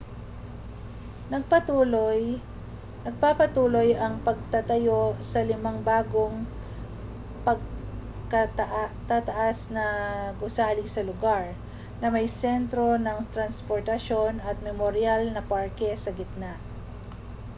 nagpapatuloy ang pagtatayo sa limang bagong pagkatataas na gusali sa lugar na may sentro ng transportasyon at memoryal na parke sa gitna